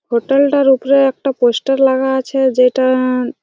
hotel -টার উপরে একটা পোস্টার লাগা আছে যেটা-আ--